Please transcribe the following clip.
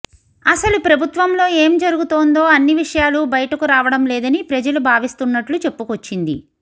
అసలు ప్రభుత్వంలో ఏం జరుగుతోందో అన్ని విషయాలు బయటకు రావడం లేదని ప్రజలు భావిస్తున్నట్లు చెప్పుకొచ్చింది